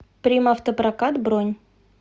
примавтопрокат бронь